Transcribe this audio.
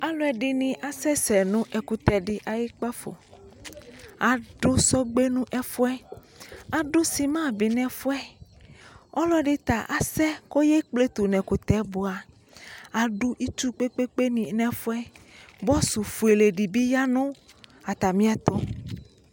Alu ɛdini akasɛsɛ nu kpafo adu sɔgbe nu ɛfuɛ adu sima bi nɛfuɛ ɔlɔdi ta asɛ kɔ eyekpletu ɛkutɛ bua adu itsu di kpekpe nu ɛfuɛ bɔsu fuele bi yanu atami ɛtu